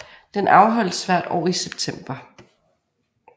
Den afholdes hvert år i september